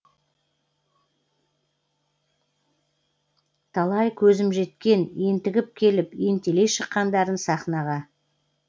талай көзім жеткен ентігіп келіп ентелей шыққандарын сахнаға